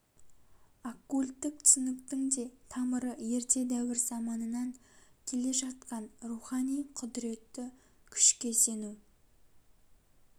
оккульттік түсініктің де тамыры ерте дәуір заманынан келе жатқан рухани құдіретті күшке сену